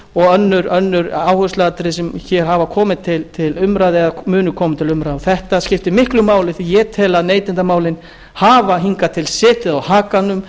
og önnur áhersluatriði sem hér hafa komið til umræðu eða munu koma til umræðu þetta skiptir miklu máli því að ég tel að neytendamálin hafi hingað til setið á hakanum